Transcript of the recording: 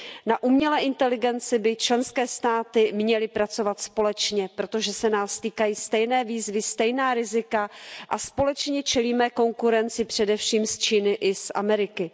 Na umělé inteligenci by členské státy měly pracovat společně, protože se nás týkají stejné výzvy, stejná rizika a společně čelíme konkurenci především z Číny i z Ameriky.